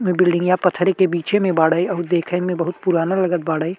बिल्डिंगया पत्थरे के बिचे में बाड़े और देखे में बहुत पुराना लगत बाड़े।